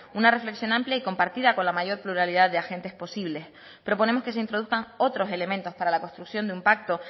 una reflexión amplia y compartida con la mayor pluralidad de agentes posibles proponemos que se introduzcan otros elementos para la construcción de un pacto